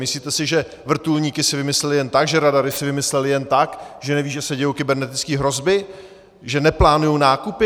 Myslíte si, že vrtulníky si vymysleli jen tak, že radary si vymysleli jen tak, že nevědí, že se dějí kybernetické hrozby, že neplánují nákupy?